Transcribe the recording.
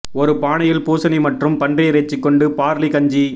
ஒரு பானையில் பூசணி மற்றும் பன்றி இறைச்சி கொண்டு பார்லி கஞ்சி